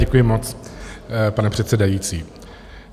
Děkuji moc, pane předsedající.